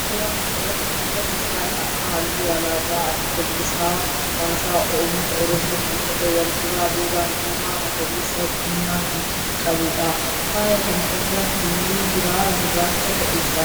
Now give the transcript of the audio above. Suuraa kana irratti kan agarru faaya harkaa halluu alaabaa adda bilisa baasaa ummata oromoo kan ta'e wal duraa duuban diimaa, magariisaa fi diimaa kan qabudha. Faaya kana irra halluu biraa gurraacha ta'e jira.